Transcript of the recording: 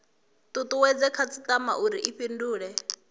tutuwedze khasitama uri i fhindule